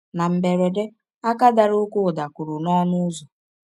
Na mberede, aka dara ọké ụda kụrụ n’ọnụ ụzọ.